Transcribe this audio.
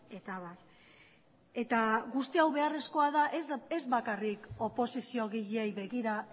eta abar eta guzti hau beharrezkoa da ez bakarrik oposiziogileei begira